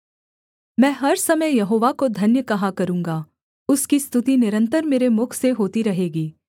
मैं हर समय यहोवा को धन्य कहा करूँगा उसकी स्तुति निरन्तर मेरे मुख से होती रहेगी